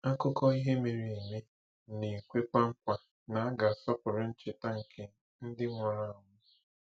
Akụkọ ihe mere eme na-ekwekwa nkwa na a ga-asọpụrụ ncheta nke ndị nwụrụ anwụ.